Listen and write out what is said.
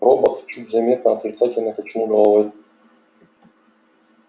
робот чуть заметно отрицательно качнул головой